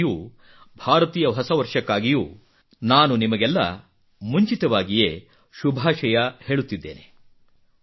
ಅದಕ್ಕಾಗಿಯೂ ಭಾರತೀಯ ಹೊಸ ವರ್ಷಕ್ಕಾಗಿಯೂ ನಾನು ನಿಮಗೆಲ್ಲಾ ಮುಂಚಿತವಾಗಿಯೇ ಶುಭಾಶಯ ಹೇಳುತ್ತಿದ್ದೇನೆ